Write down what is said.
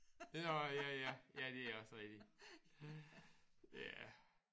Det er også ja ja det er også rigtigt ja